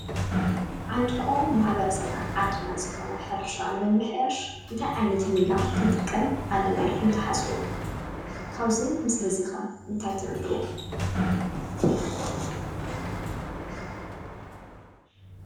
ዓንዲ ሑቐ ማሕበረሰብናን ዓድናን ዝኾነ ሕርሻ ንምምሕያሽ እንታይ ዓይነት ሜላ ክንጥቀም ኣለና ኢልኩም ትሓስቡ? ካብዚ ምስሊ እዚ ኸ እንታይ ትርድኡ?